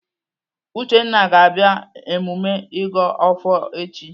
Uchenna ga-abịa emume ịgọ ọfọ echi.